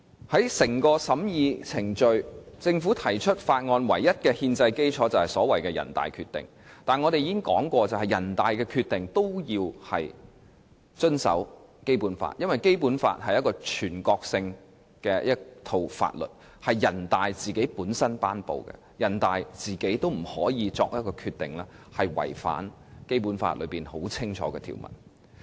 在審議《條例草案》的程序中，政府提出法案的唯一憲制基礎，就是所謂的人大《決定》，但我們已經指出，人大《決定》也是需要遵守《基本法》的，因為《基本法》是一套全國性法律，由人大頒布，人大也不可以作出違反《基本法》清晰條文的決定。